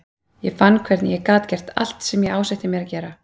Ég fann hvernig ég gat gert allt sem ég ásetti mér að gera.